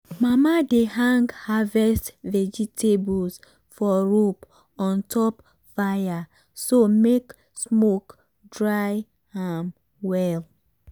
mama dey hang harvest vegetables for rope on top fire so make smoke dry am well.